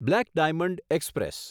black diamond express